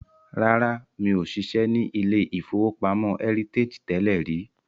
Rárá, mi ò ṣiṣẹ́ ní ilé-ìfowópamọ́ Heritage tẹ́lẹ̀ rí